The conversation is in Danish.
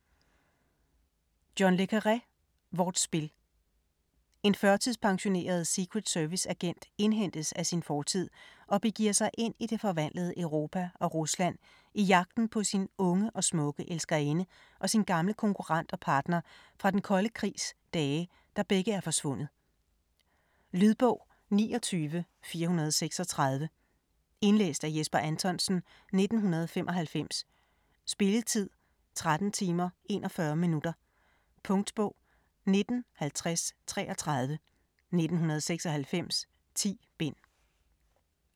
Le Carré, John: Vort spil En førtidspensioneret secret-service-agent indhentes af sin fortid, og begiver sig ind i det forvandlede Europa og Rusland i jagten på sin unge og smukke elskerinde og sin gamle konkurrent og partner fra den kolde krigs dage, der begge er forsvundet. Lydbog 29436 Indlæst af Jesper Anthonsen, 1995. Spilletid: 13 timer, 41 minutter. Punktbog 195033 1996. 10 bind.